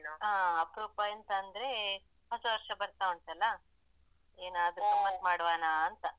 ಹಾ ಅಪ್ರೂಪ ಎಂತ ಅಂದ್ರೆ ಹೊಸವರ್ಷ ಬರ್ತಾ ಉಂಟಲ್ಲ ಏನಾದ್ರು ಗಮ್ಮತ್ ಮಾಡುವನಾ ಅಂತ.